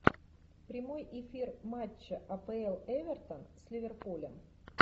прямой эфир матча апл эвертон с ливерпулем